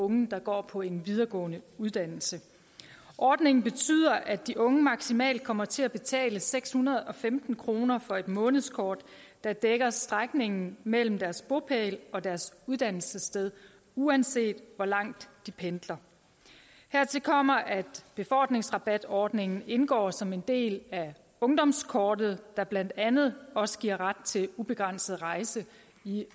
unge der går på en videregående uddannelse ordningen betyder at de unge maksimalt kommer til at betale seks hundrede og femten kroner for et månedskort der dækker strækningen mellem deres bopæl og deres uddannelsessted uanset hvor langt de pendler hertil kommer at befordringsrabatordningen indgår som en del af ungdomskortet der blandt andet også giver ret til ubegrænset rejse i